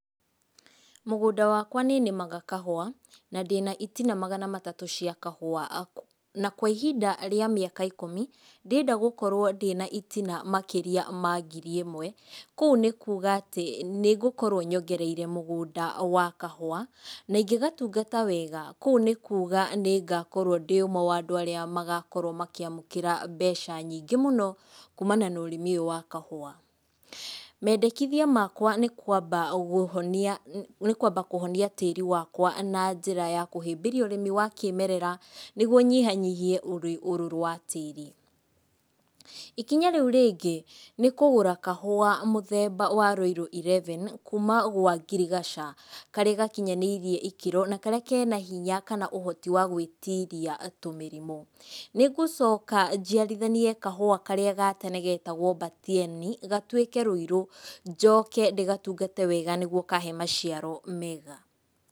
Mũgũnda wakwa nĩ nĩmaga kahũa, na ndĩna itina magana matatũ cia kahũa. Na kwa ihinda rĩa mĩaka ikumi ndĩrenda gũkorwo ndĩna itina makĩria ma ngiri ĩmwe, kũu nĩ kuuga atĩ nĩ ngũkorwo nyongereire mũgũnda wa kahũa, na ingĩgatungata wega, kũu nĩ kuga nĩ ngakorwo ndĩ ũmwe wa andũ arĩa magakorwo makĩamũkĩra mbeca nyingĩ mũno kumana na ũrĩmi ũyũ wa kahũa. Mendekithia makwa nĩ kwamba gũhonia, nĩ kwamba kũhonia tĩri wakwa na njĩra ya kũhĩmbĩria ũrĩmi wa kĩmerera nĩgwo nyihanyihie ũrũrũ wa tĩri. Ikinya rĩu rĩngĩ nĩ kũgũra kahũa mũthemba wa Rũirũ Eleven, kuma gwa ngirigaca, karĩ gakinyanĩirie ikĩro na karĩa kena hinya kana ũhoti wa gwĩtiria tũmĩrimũ. Nĩ ngũcoka njiarithanie kahũa karĩa ga tene getagwo Batieni gatuĩke Rũirũ, njoke ndĩgatungate wega nĩgwo kahe maciaro mega.